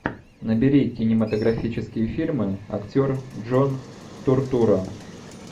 набери кинематографические фильмы актер джон туртурро